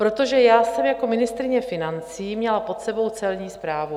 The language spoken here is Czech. Protože já jsem jako ministryně financí měla pod sebou Celní správu.